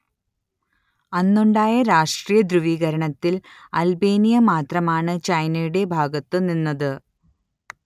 അന്നുണ്ടായ രാഷ്ട്രീയ ധ്രുവീകരണത്തിൽ അൽബേനിയ മാത്രമാണ് ചൈനയുടെ ഭാഗത്തു നിന്നത്